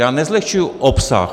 Já nezlehčuji obsah.